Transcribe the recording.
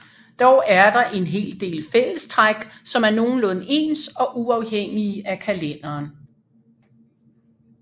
Dog er der en hel del fællestræk som er nogenlunde ens og uafhængige af kalenderen